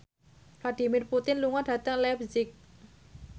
Vladimir Putin lunga dhateng leipzig